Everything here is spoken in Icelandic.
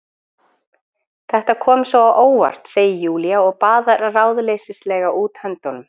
Þetta kom svo á óvart, segir Júlía og baðar ráðleysislega út höndunum.